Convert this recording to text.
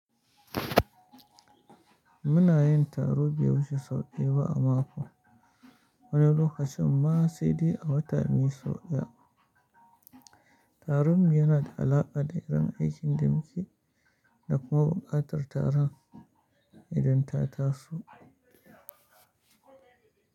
Muna yin taro biyu sau ɗaya ba a mako, wani lokacin ma sai dai a wata mai sau ɗaya. Tarinmu yana da alaƙa da irin aikin da muke da kuma buƙatar taron idan ta tasu.